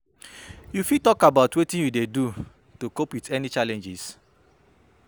You fit talk about wetin you dey do to cope with challenges?